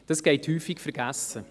– Das geht häufig vergessen: